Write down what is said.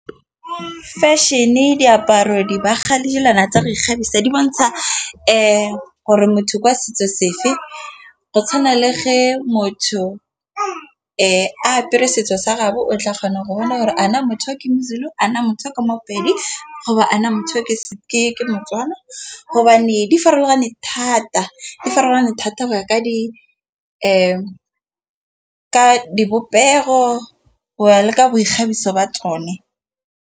Feshene, diaparo, dibaga le dilwana tsa go ikgabisa di bontsha gore motho kwa setso sefe. Go tshwana le ge motho apere setso sa gabo o tla kgona go bona gore a na motho o ke moZulu, a na motho o ke moPedi gore a na motho ke motswana. Hobane di farologane thata go ya ka di dipopego, o ya le ka boikgabiso ba tsone.